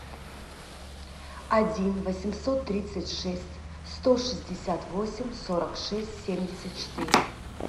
один восемьсот тридцать шесть сто шестьдесят восемь сорок шесть семьдесят четыре